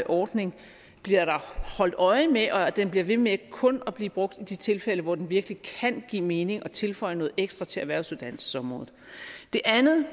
ordning bliver der holdt øje med og at den bliver ved med kun at blive brugt i de tilfælde hvor den virkelig kan give mening og tilføje noget ekstra til erhvervsuddannelsesområdet det andet